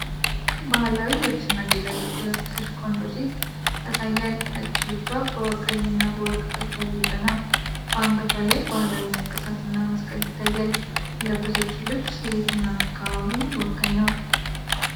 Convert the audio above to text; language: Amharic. ባህላዊ ልብስና ጌጣጌጥ የለበሰች ቆንጆ ሴት ያሳያል። ነጭ ልብሷ በቀይና በወርቅ ጥልፍ ያጌጠ ነው። በአንገቷ ላይ ባህላዊ ንቅሳትና መስቀል ይታያል። የለበሰችው ልብስ የየትኛውን አካባቢ ወካይ ነው?